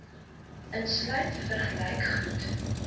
insluit vergelyk goed